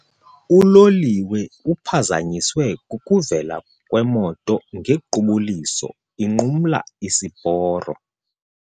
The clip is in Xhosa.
Uloliwe uphazanyiswe kukuvela kwemoto ngequbuliso inqumla isiporo.